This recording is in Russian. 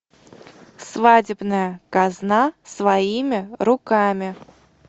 свадебная казна своими руками